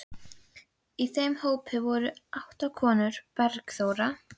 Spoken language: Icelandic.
Í þeim hópi voru átta konur: Bergþóra